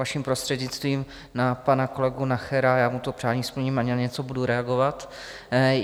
Vaším prostřednictvím na pan kolegu Nachera, já mu to přání splním a na něco budu reagovat.